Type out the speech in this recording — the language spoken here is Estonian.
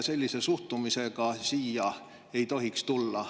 Sellise suhtumisega ei tohiks siia tulla.